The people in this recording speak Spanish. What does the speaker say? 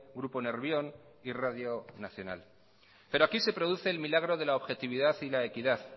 grupo nervión y radio nacional pero aquí se produce el milagro de la objetividad y la equidad